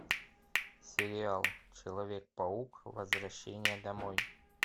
сериал человек паук возвращение домой